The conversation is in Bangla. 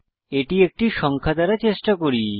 এটি একটি সংখ্যা দ্বারা চেষ্টা করি